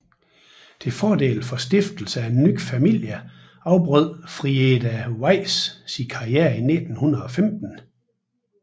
Til fordel for stiftelse af ny familie afbrød Frieda Weiss sin karriere i 1915